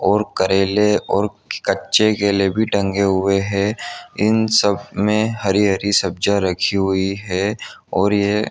और करेले और कच्चे केले भी टंगे हुए हैं इन सब मैं हरी-हरी सब्जिया रखी हुई हैं और ये --